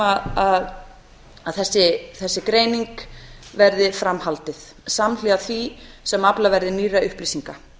tillaga um að þessari greiningu veðri fram haldið samhliða því sem aflað verði nýrra upplýsinga